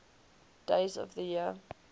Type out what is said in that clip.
days of the year